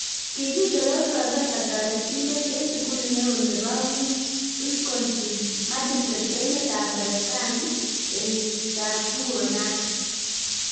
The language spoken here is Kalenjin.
kigitoror profesa toretindet eng sugulit neo nepo wisconsin -madison emet ap merekeni kenyit 2009